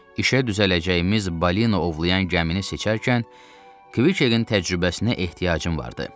İşə düzələcəyimiz balin ovlayan gəmini seçərkən Kviketin təcrübəsinə ehtiyacım vardı.